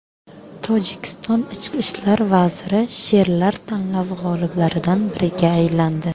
Tojikiston ichki ishlar vaziri she’rlar tanlovi g‘oliblaridan biriga aylandi.